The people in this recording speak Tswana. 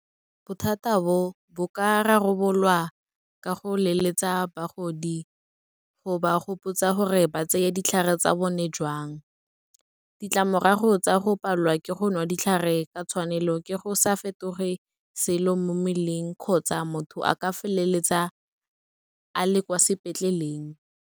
Bothata bo, bo ka rarabololwa ka go leletsa bagodi go ba gopotsa gore ba tseye ditlhare tsa bone jang. Ditlamorago tsa go palelwa ke go nwa ditlhare ka tshwanelo, ke go sa fetoge selo mo mmeleng kgotsa motho a ka feleletsa a le kwa sepetlele.